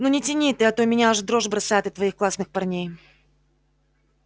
ну не тяни ты а то меня аж в дрожь бросает от твоих классных парней